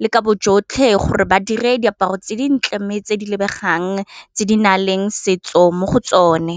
le ka bojotlhe gore ba dire diaparo tse dintle tse di lebegang tse di na leng setso mo go tsone.